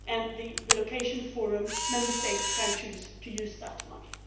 And the relocation forum Member States can choose to use that money.